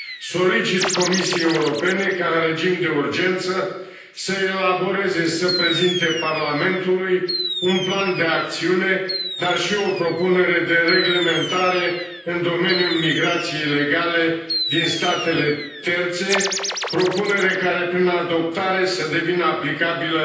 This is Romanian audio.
Solicit Comisiei Europene ca în regim de urgență să elaboreze și să prezinte Parlamentului un plan de acțiune, dar și o propunere de reglementare în domeniul migrației ilegale din statele terțe, propunere care prin adoptare să devină aplicabilă